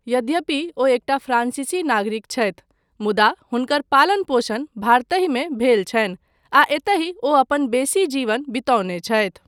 यद्यपि ओ एकटा फ्रांसीसी नागरिक छथि मुदा हुनकर पालन पोषण भारतहि मे भेल छनि आ एतहि ओ अपन बेसी जीवन बितौने छथि।